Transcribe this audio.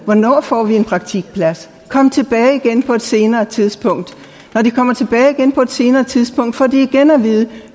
hvornår får vi en praktikplads svaret kom tilbage igen på et senere tidspunkt når de kommer tilbage igen på et senere tidspunkt får de igen at vide at